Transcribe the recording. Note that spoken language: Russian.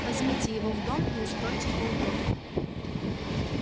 возьмите его в дом и устройте поудобнее